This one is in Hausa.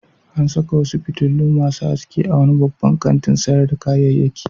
An saka wasu fitilu masu haske a wani babban kantin sayar da kayayyaki.